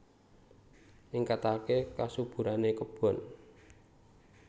Ningkataké kasuburané kebon